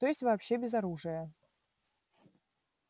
то есть вообще без оружия